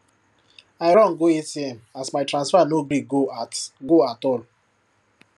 i run go atm as my transfer no gree go at go at all